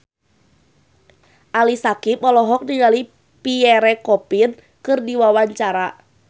Ali Syakieb olohok ningali Pierre Coffin keur diwawancara